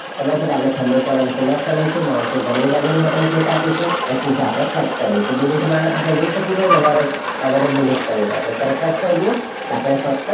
ખબર છે એટલે આપણે છેલ્લું column select કરી દઈશું mouse નુ જમણી બાજુનું button click આપીશું. પછી આપણે cut કરી દઈશું delete માં આપણે જઈ શકીએ છીએ વધારે બાબતો delete કરવા પહેલા આપણે cut કરી દઈએ આપણે ફક્ત